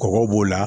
Kɔgɔ b'o la